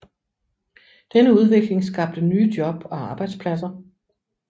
Denne udvikling skabte nye job og arbejdspladser